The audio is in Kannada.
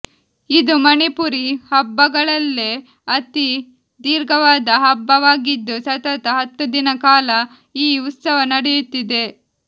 ಇದು ಮಣಿಪುರಿ ಹಬ್ಬಗಳಲ್ಲೇ ಅತಿ ದೀರ್ಘವಾದ ಹಬ್ಬವಾಗಿದ್ದು ಸತತ ಹತ್ತು ದಿನ ಕಾಲ ಈ ಉತ್ಸವ ನಡೆಯುತ್ತಿದೆ